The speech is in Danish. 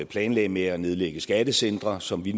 planlagde med at nedlægge skattecentre som vi